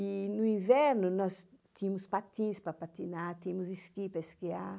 E no inverno nós tínhamos patins para patinar, tínhamos esqui para esquiar.